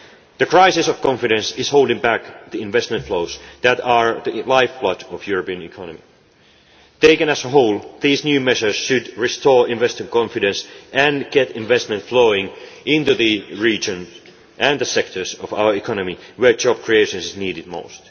for. The crisis of confidence is holding back the investment flows that are the lifeblood of the European economy. Taken as a whole, these new measures should restore investor confidence and get investment flowing into the regions and sectors of our economy where job creation is needed